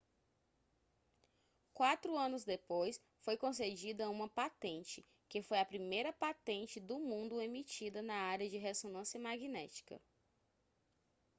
quatro anos depois foi concedida uma patente que foi a primeira patente do mundo emitida na área de ressonância magnética